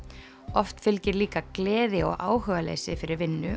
oft fylgir líka gleði og áhugaleysi fyrir vinnu